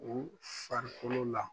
U farikolo la.